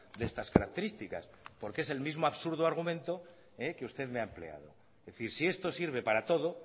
de estas características porque es el mismo absurdo argumento que usted me ha empleado es decir si esto sirve para todo